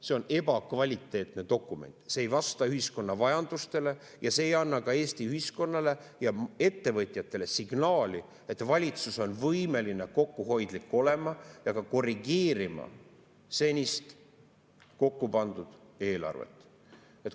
See on ebakvaliteetne dokument, see ei vasta ühiskonna vajadustele ja see ei anna ka Eesti ühiskonnale ja ettevõtjatele signaali, et valitsus on võimeline kokkuhoidlik olema ja korrigeerima senist kokkupandud eelarvet.